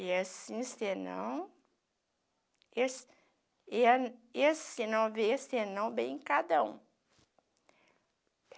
E assim, senão, esse e é esse não vê, se não bem cada um.